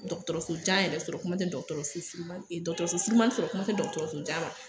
dɔgɔtɔrɔso jan yɛrɛ sɔrɔ kuma tɛ dɔgɔtɔrɔso suruman dɔgɔtɔrɔso surumanin sɔrɔ kuma tɛ dɔgɔtɔrɔso jan ma